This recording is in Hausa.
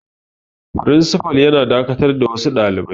Firinsifal yana dakatar da wasu dalibai.